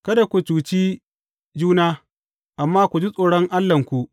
Kada ku cuci juna, amma ku ji tsoron Allahnku.